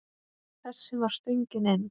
Þessi var stöngin inn.